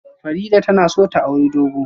Farida tana son ta auri dogo